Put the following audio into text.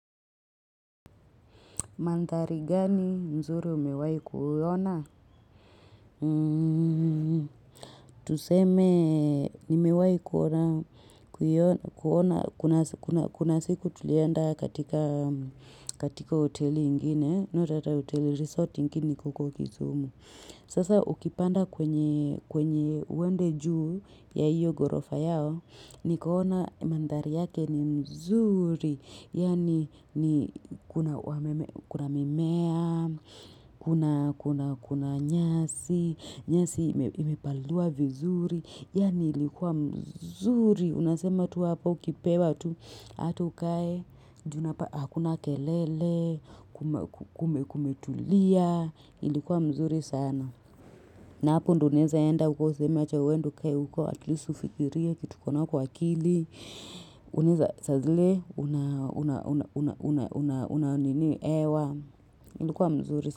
Mandari gani mzuri umewayi kuona? Tuseme nimewahi kuona kuna siku tulienda katika hotel ingine. Notata hotel resort ingini huko kisumu. Sasa ukipanda kwenye uende juu ya hiyo gorofa yao. Nikoona mandhari yake ni mzuri, yani kuna mimea, kuna nyasi, nyasi imepaliliwa vizuri, yani ilikuwa mzuri. Unasema tu hapa ukipewa tu, hatu ukae, junapa akuna kelele, kumetulia, ilikuwa mzuri sana. Na hapo ndo uneza enda, huko useme acha uende ukae, huko at least ufikiria kitu kona kwa akili. Unuza za zile, unaunini ewa, ilikuwa mzuri.